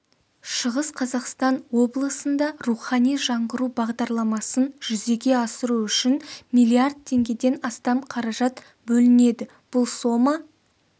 шығыс қазақстан облысында рухани жаңғыру бағдарламасын жүзеге асыру үшін миллиард теңгеден астам қаражат бөлінеді бұл сома